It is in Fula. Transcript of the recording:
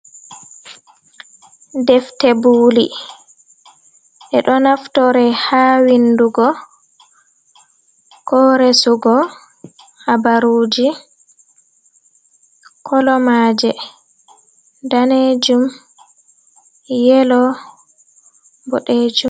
Defte buuli ɓe ɗo naftore ha windugo ko resugo habaruuji kolo maaje daneejum, yelo, boɗeejum.